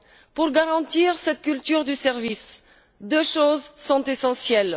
Pour garantir cette culture de service, deux choses sont essentielles.